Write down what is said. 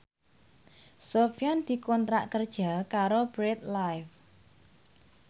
Sofyan dikontrak kerja karo Bread Life